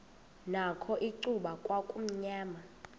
nakho icuba kwakumnyama